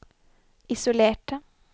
isolerte